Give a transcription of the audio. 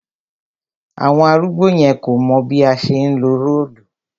Àwọn arúgbó yẹn kò mọ̀ bí a ṣe ńlo róòlù